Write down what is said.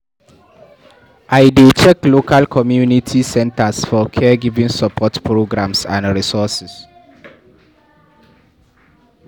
I dey check local community centers for caregiving support programs and resources.